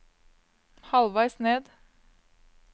halvveis ned